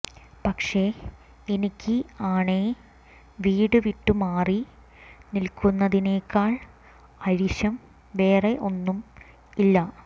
പക്ഷെ എനിക്ക് ആണേ വീട് വിട്ടു മാറി നിൽക്കുന്നതിനേക്കാൾ അരിശം വേറെ ഒന്നും ഇല്ല